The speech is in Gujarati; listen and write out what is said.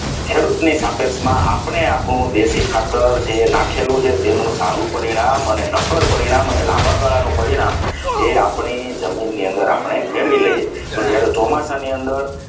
ખેડૂત ની સાપેક્ષમાં આપણે આપણું દેશી ખાતર જે નાખેલું છે તેનું સારું પરિણામ અને એની super પરિણામ અને લાંબાગાળાનું પરિણામ એ આપણે આપણી જમીનની અંદર મેળવી લઈએ છીએ તો જ્યારે ચોમાસાની અંદર